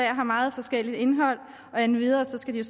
har meget forskelligt indhold og endvidere skal